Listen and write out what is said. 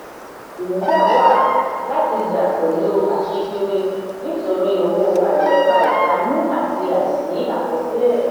ìpèníjà wà láti jà pẹ̀lú aṣíkiri nítorí owó àìdọ́gba ẹ̀tanú àti àìsí àkọsílẹ̀.